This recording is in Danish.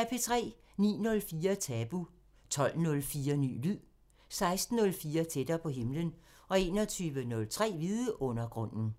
09:04: Tabu 12:04: Ny lyd 16:04: Tættere på himlen 21:03: Vidundergrunden